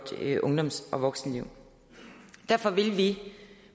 ungdoms og voksenliv derfor vil vi